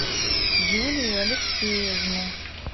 юлию алексеевну